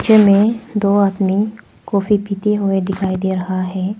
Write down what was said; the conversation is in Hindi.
में दो आदमी कॉफी पीते हुए दिखाई दे रहा है।